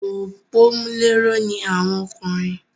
Òpómúléró ni àwọn ọkùnrin